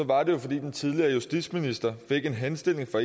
var det jo fordi den tidligere justitsminister fik en henstilling fra